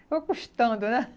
Ficou custando, né?